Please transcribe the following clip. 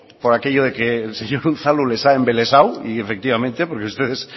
por aquello de que el señor unzalu les ha embelesado y efectivamente porque ustedes